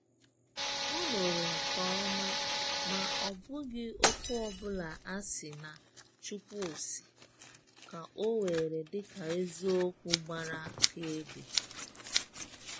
Ọ̀ nụrụ nke ọma, ma ọ bụghị okwu ọ bụla a sị na “Chukwu sị” ka ọ were dị ka eziokwu gbara akaebe.